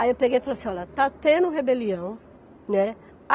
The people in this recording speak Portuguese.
Aí eu peguei e falei assim, olha, está tendo rebelião, né?